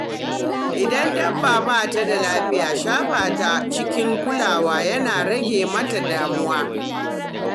Idan dabba ba ta da lafiya, shafa ta cikin kulawa yana rage mata damuwa.